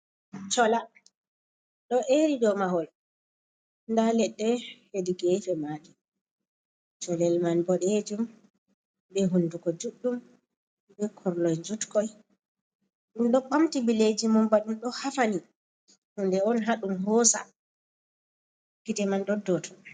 Chola do eri do mahol da ledde hedikete maji colel man bodejum be hunduko juɗɗum be korloi jutkoi, dum do bamti billeji mum badum do hafani hunde on haɗum hosa kite man doddoto.